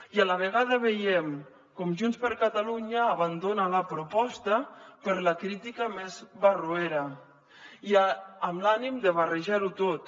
i a la vegada veiem com junts per catalunya abandona la proposta per la crítica més barroera i amb l’ànim de barrejarho tot